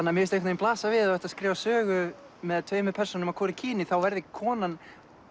mér finnst blasa við ef þú ert að skrifa sögu með tveimur persónum af hvoru kyni þá verði konan